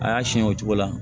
A y'a siyɛn o cogo la